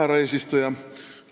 Härra eesistuja!